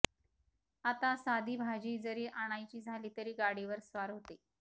आता साधी भाजी जरी आणायची झाली तरी गाडीवर स्वार होते